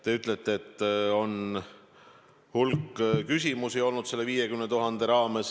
Te ütlete, et on olnud hulk küsimusi selle 50 000 raames.